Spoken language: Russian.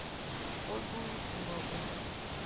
ольгу екимову